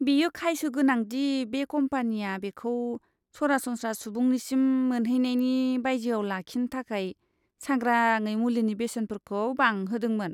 बेयो खायसो गोनां दि बे कम्पानिया बेखौ सरासनस्रा सुबुंनिसिम मोनहैनायनि बायजोआव लाखिनो थाखाय सांग्राङै मुलिनि बेसेनफोरखौ बांहोदोंमोन।